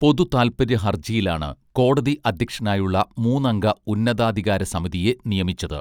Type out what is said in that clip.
പൊതു താൽപര്യ ഹർജിയിലാണു കോടതി അധ്യക്ഷനായുളള മൂന്നംഗ ഉന്നതാധികാര സമിതിയെ നിയമിച്ചത്